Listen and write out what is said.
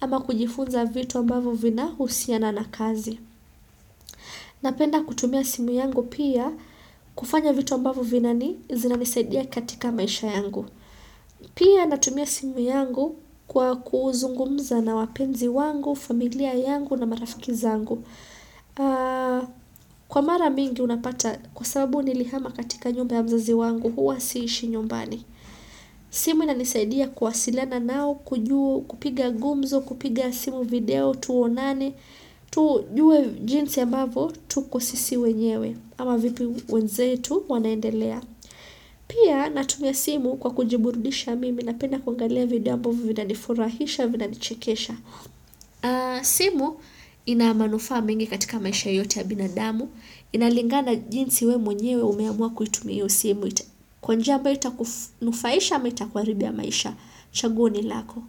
ama kujifunza vitu ambavo vina husiana na kazi. Napenda kutumia simu yangu pia kufanya vitu ambavo zinanisaidia katika maisha yangu. Pia natumia simu yangu kwa kuzungumza na wapenzi wangu, familia yangu na marafiki zangu. Kwa mara mingi unapata kwa sababu nilihama katika nyumba ya mzazi wangu huwa siishi nyumbani simu inanisaidia kuwasilana nao kujua au kupiga gumzo kupiga simu video tuonane tujue jinsi ambavo tuko sisi wenyewe ama vipi wenzetu wanaendelea pia natumia simu kwa kujiburdisha mimi napenda kuangalia video ambavo vinanifurahisha vinanichekesha simu ina manufaa mingi katika maisha yote ya binadamu inalingana jinsi we mwenyewe umeamua kuitumia hio simu kwa njia ambayo itakunufaisha ama itakuharibia maisha chaguo ni lako.